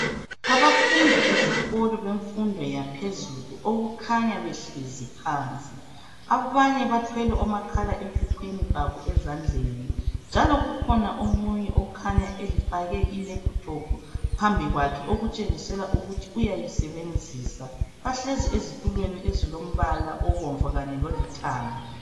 Abafundi besikolo bemfundo yaphezulu okukhanya behlezi phansi, abanye bathwele omakhala ekhukhwini babo ezandleni njalo kukhona omunye okhanya efake ilephuthophu phambi kwakhe okutshengisela ukuthi uyayisebenzisa, bahlezi ezitulweni ezilombala obomvu kanye lolithanga.